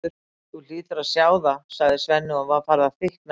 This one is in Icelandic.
Þú hlýtur að sjá það, sagði Svenni og var farið að þykkna í honum.